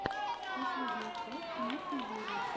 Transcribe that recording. последняя часть ники юри